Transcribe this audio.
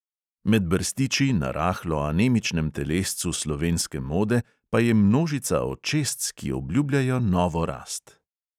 Med brstiči na rahlo anemičnem telescu slovenske mode pa je množica očesc, ki obljubljajo novo rast.